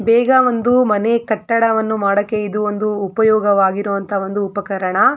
ಬೇಗ ಒಂದು ಮನೆ ಕಟ್ಟಡವನ್ನು ಮಾಡಕೆ ಇದು ಒಂದು ಉಪಯೋಗವಾಗಿರೋ ಅಂತ ಒಂದು ಉಪಕರಣ.